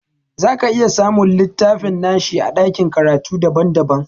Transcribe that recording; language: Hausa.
Zaka iya samun littafin nashi a ɗakin karatu daban daban